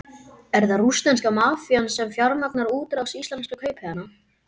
Er það rússneska mafían sem fjármagnar útrás íslenskra kaupahéðna?